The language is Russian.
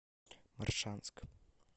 моршанск